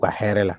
U ka hɛrɛ la